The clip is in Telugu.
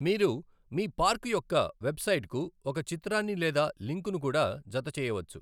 మీరు మీ పార్కు యొక్క వెబ్సైట్ కు ఒక చిత్రాన్ని లేదా లింక్ ను కూడా జతచేయవచ్చు.